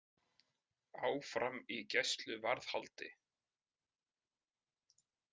Áfram í gæsluvarðhaldi